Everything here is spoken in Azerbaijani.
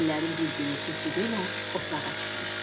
Günlərin bir günü keçi yenə otlağa çıxmışdı.